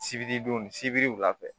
Sibiridon sibiri wula fɛ